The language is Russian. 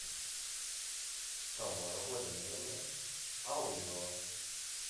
тамара владимировна алымова